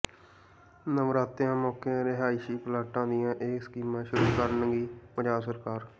ਨਵਰਾਤਿਆਂ ਮੌਕੇ ਰਹਾਇਸ਼ੀ ਪਲਾਟਾਂ ਦੀਆਂ ਇਹ ਸਕੀਮਾਂ ਸ਼ੁਰੂ ਕਰੇਗੀ ਪੰਜਾਬ ਸਰਕਾਰ